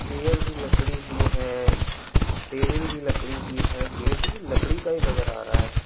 Chair भी लकड़ी की है टेबल भी लकड़ी की है गेट भी लकड़ी का ही नजर आ रहा है।